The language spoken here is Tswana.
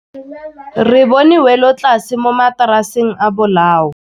Re bone wêlôtlasê mo mataraseng a bolaô.